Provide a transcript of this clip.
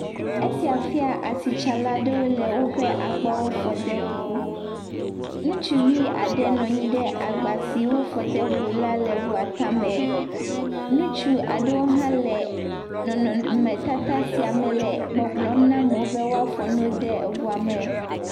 Esia fia asitsala aɖewo le woƒe agbawo fɔm de ŋu, ŋutsu aɖe nɔ anyi ɖe agba si wo fɔ de ŋu la le ŋu tame, ŋutsu aɖewo le nɔnɔme tata sia me le gbɔgblɔm be woafɔ nuwo de eŋua tame.